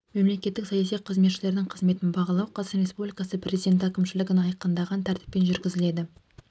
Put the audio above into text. мемлекеттік саяси қызметшілердің қызметін бағалау қазақстан республикасы президенті әкімшілігінің айқындаған тәртіппен жүргізіледі